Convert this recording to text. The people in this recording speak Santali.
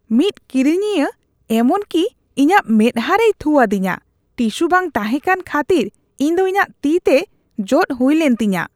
ᱢᱤᱫ ᱠᱤᱨᱤᱧᱤᱭᱟᱹ ᱮᱢᱚᱱ ᱠᱤ ᱤᱧᱟᱹᱜ ᱢᱮᱫᱽᱦᱟ ᱨᱮᱭ ᱛᱷᱩ ᱟᱫᱤᱧᱟ ᱾ ᱴᱤᱥᱩ ᱵᱟᱝ ᱛᱟᱦᱮᱸ ᱠᱟᱱ ᱠᱷᱟᱹᱛᱤᱨ ᱤᱧ ᱫᱚ ᱤᱧᱟᱜ ᱛᱤ ᱛᱮ ᱡᱚᱫ ᱦᱩᱭᱞᱮᱱ ᱛᱤᱧᱟᱹ ᱾